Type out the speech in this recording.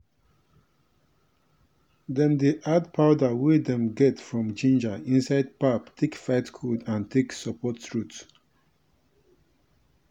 dem dey add powder wey dem get from ginger inside pap take fight cold and take support throat.